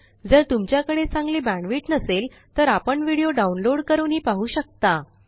जर तुमच्याकडे चांगली बॅण्डविड्थ नसेल तर आपण व्हिडिओ डाउनलोड करूनही पाहू शकता